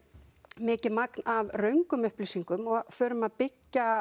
mikið magn af röngum upplýsingum og förum að byggja